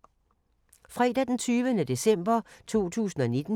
Fredag d. 20. december 2019